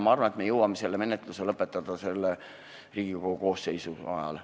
Ma arvan, et me jõuame selle menetluse lõpetada Riigikogu praeguse koosseisu ajal.